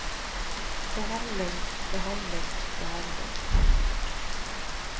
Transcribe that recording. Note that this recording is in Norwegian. behandling behandling behandling